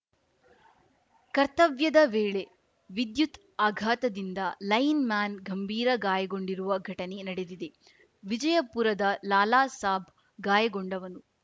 ಕರ್ತವ್ಯದ ವೇಳೆ ವಿದ್ಯುತ್‌ ಆಘಾತದಿಂದ ಲೈನ್‌ಮ್ಯಾನ್‌ ಗಂಭಿರ ಗಾಯಗೊಂಡಿರುವ ಘಟನೆ ನಡೆದಿದೆ ವಿಜಯಪುರದ ಲಾಲಾ ಸಾಬ್‌ ಗಾಯಗೊಂಡವನು